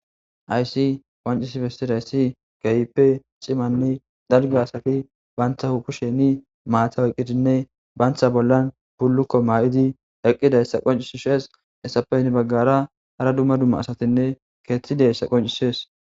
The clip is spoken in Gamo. Hays qoncis besidays keehippe cimanne dalga asat banta kushen mata oykidinne banta bollan buluko mayid eqidaysa qoncises. Hesappe hen bagara hara dumma dumma asatinne keeth dizaysa qoncises